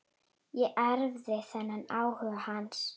Ég erfði þennan áhuga hans.